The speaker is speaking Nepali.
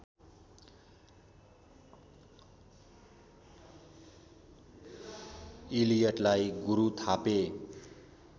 इलियटलाई गुरु थापे